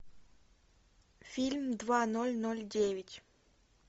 фильм два ноль ноль девять